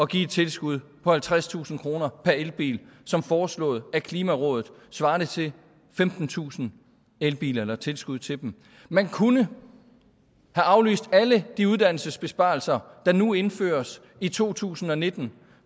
give et tilskud på halvtredstusind kroner per elbil som foreslået af klimarådet svarende til femtentusind elbiler eller tilskuddet til dem man kunne have aflyst alle de uddannelsesbesparelser der nu indføres i to tusind og nitten